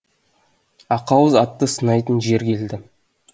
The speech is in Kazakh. ақауыз атты сынайтын жер келді